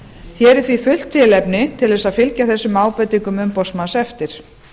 hér er því fullt tilefni til a fylgja þessum ábendingum umboðsmanns eftir